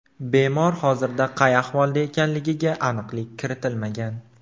Bemor hozirda qay ahvolda ekanligiga aniqlik kiritilmagan.